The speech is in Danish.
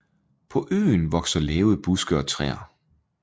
På øen vokser lave buske og træer